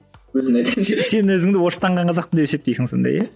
сен өзіңді орыстанған қазақпын деп есептейсің сонда иә